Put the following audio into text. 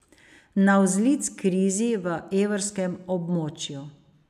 Navzlic krizi v evrskem območju.